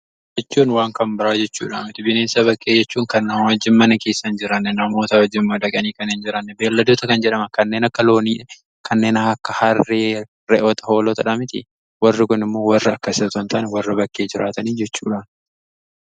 Jechuun waan kan biraa jechuu miti bineensa bakkee jechuun kan namaa wajjimmanna keessan jiraanne namoota wajjimmaa dhaganii kan en jiraanne beelladoota kan jedhama kanneen akka loonii kanneen akka harre re'oota hoolotadha miti warri kun immoo warra akkas ta'an ta'an warra bakkee jiraatanii jechuudhan.